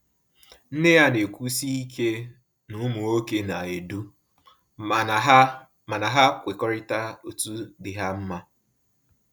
Nne ya na-ekwusi ike na ụmụ nwoke na-edu, mana ha mana ha kwekọrịta otu dị ha mma